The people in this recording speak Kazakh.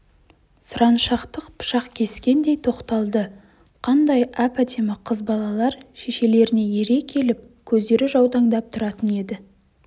сұраншақтық пышақ кескендей тоқталды қандай әп-әдемі қыз балалар шешелеріне ере келіп көздері жаутаңдап тұратын еді